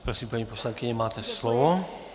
Prosím, paní poslankyně, máte slovo.